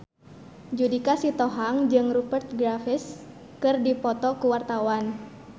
Judika Sitohang jeung Rupert Graves keur dipoto ku wartawan